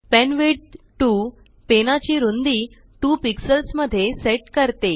pen width 2 पेनाची रुंदी 2 pixelsमध्ये सेट करते